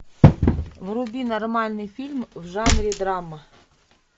вруби нормальный фильм в жанре драма